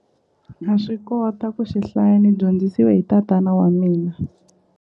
Na swi kota ku swi hlaya ni dyondzisiwe hi tatana wa mina.